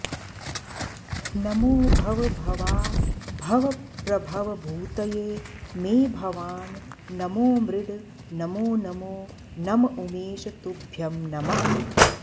नमो भवभवाभवप्रभवभूतये मे भवान् नमो मृड नमो नमो नम उमेश तुभ्यं नमः